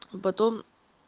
потом